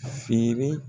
Feere